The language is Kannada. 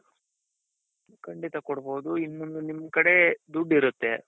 ಖಂಡಿತ ಕೊಡ್ಬಹುದು ಈಗ ನಿಮ್ ಕಡೆ ದುಡ್ಡಿರುತ್ತೆ ,